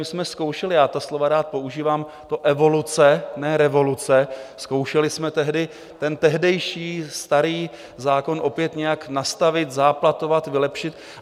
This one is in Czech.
My jsme zkoušeli - já ta slova rád používám, to evoluce, ne revoluce - zkoušeli jsme tehdy ten tehdejší starý zákon opět nějak nastavit, záplatovat, vylepšit.